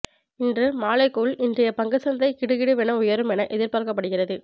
இன்று மாலைக்குள் இன்றைய பங்கு சந்தை கிடுகிடுவென உயரும் என எதிர்பார்க்கப்படுகிறது